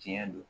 Diɲɛ don